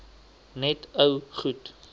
net ou goed